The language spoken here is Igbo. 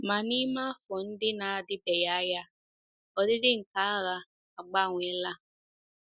Ma n’ime afọ ndị na - adịbeghị anya, ọdịdị nke agha agbanweela.